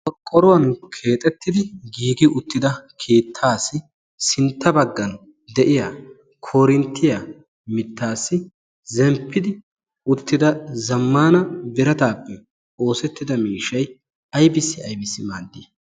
Qorqqoruwaan keexettidi giigi uttida keettaassi sintta bagan de'iyaa koorinttiyaa mittaassi zenppidi uttida zammaana birataappe oosettida miishshay ayibissi aybissi maaddii?